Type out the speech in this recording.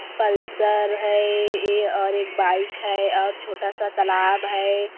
Pulsar है अ एक बाइक है और छोटा सा तलाब है।